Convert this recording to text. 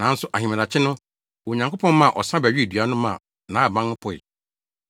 Nanso ahemadakye no, Onyankopɔn maa ɔsa bɛwee dua no maa nhaban no poe.